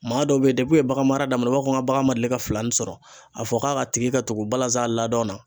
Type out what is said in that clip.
Maa dɔw be yen u ye bagan mara daminɛ u b'a fɔ ka bagan ma deli ka filani sɔrɔ a fɔ k'a tigi ka tugu balanzan ladon na